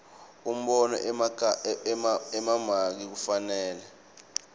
umbono emamaki kufanele